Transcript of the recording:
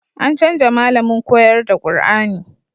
An canja malamin koyar da Kur'ani